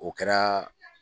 O kɛra